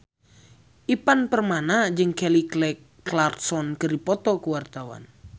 Ivan Permana jeung Kelly Clarkson keur dipoto ku wartawan